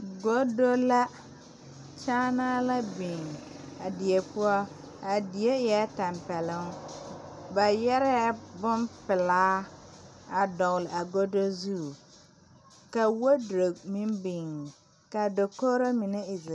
Godo la kyaanaa la biŋ a die poɔ a die eɛɛ tampɛloŋ ba yɛrɛɛ bonpelaa a dɔgle a godo zu ka wodrop meŋ biŋ kaa dokogro mine e zee.